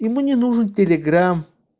ему не нужен телеграм